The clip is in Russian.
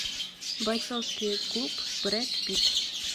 бойцовский клуб брэд питт